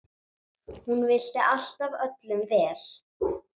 Hún vildi alltaf öllum vel.